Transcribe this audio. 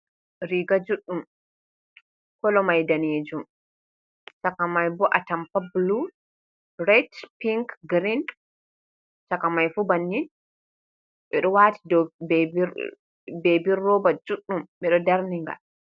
Riga juɗɗum, kolomay daneejum, cakamay boo atampa bulu, ret, ping, girin, cakamay fuuh bannin. Ɓe ɗo waati dow beebi rooba juuɗɗum ɓe ɗo darninngal.